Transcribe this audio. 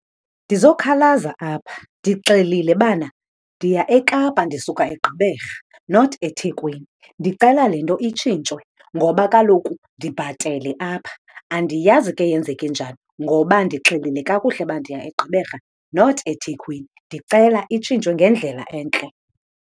Ndizokhalaza apha. Ndixelile bana ndiya eKapa ndisuka eGqeberha, not eThekwini. Ndicela le nto itshintshwe ngoba kaloku ndibhatele apha. Andiyazi ke yenzeke njani ngoba ndixelile kakuhle uba ndiya eGqeberha, not eThekwini. Ndicela itshintshwe ngendlela entle.